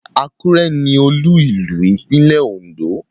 Àkúrẹ́ ni Olú-ìlú ìpínlẹ́ Ondo